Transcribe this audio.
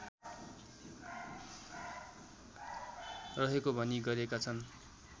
रहेको भनी गरेका छन्